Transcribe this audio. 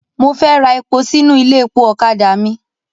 Mo fẹ́ ra epo sínú ilé epo ọ̀kadà mi.